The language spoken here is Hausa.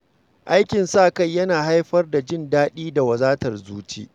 Aikin sa-kai yana haifar da jin daɗi da wadatar zuci